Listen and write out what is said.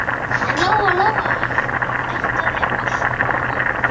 En Lóa Lóa ætlaði allt annað núna.